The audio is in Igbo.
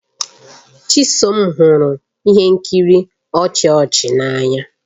Chisom hụrụ ihe nkiri ọchị ọchị n'anya.